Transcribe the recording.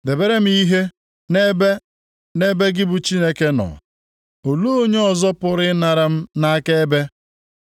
“Debere m ihe ebe nʼebe gị Chineke nọ. Olee onye ọzọ pụrụ ịnara m nʼakaebe?